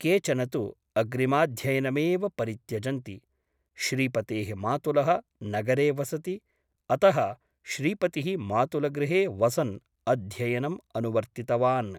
केचन तु अग्रिमाध्ययनमेव परित्यजन्ति । श्रीपतेः मातुलः नगरे वसति । अतः श्रीपतिः मातुलगृहे वसन् अध्ययनम् अनुवर्तितवान् ।